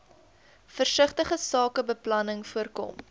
versigtige sakebeplanning voorkom